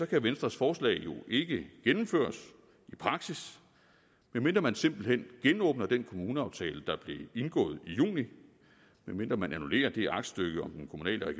kan venstres forslag jo ikke gennemføres i praksis medmindre man simpelt hen genåbner den kommuneaftale der blev indgået i juni medmindre man annullerer det aktstykke om den kommunale og